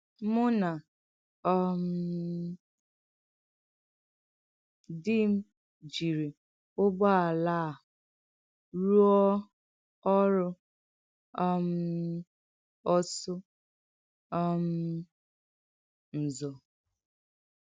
Mụ̀ na um dì m jìrì ụgbọ̀álà a rùọ́ ọrụ́ um ọ́sụ̀ um ǹzọ̀.